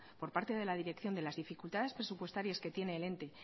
por parte de la dirección de las dificultades presupuestarias que tiene el ente